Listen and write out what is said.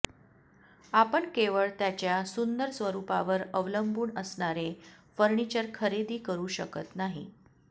आपण केवळ त्याच्या सुंदर स्वरूपावर अवलंबून असणारे फर्निचर खरेदी करू शकत नाही